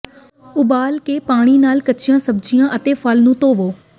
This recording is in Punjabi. ਉਬਾਲ ਕੇ ਪਾਣੀ ਨਾਲ ਕੱਚੀਆਂ ਸਬਜ਼ੀਆਂ ਅਤੇ ਫਲ ਨੂੰ ਧੋਵੋ